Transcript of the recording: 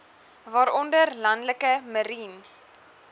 waaronder landelike marine